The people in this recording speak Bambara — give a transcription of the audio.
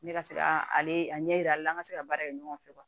Ne ka se ka ale la an ka se ka baara kɛ ɲɔgɔn fɛ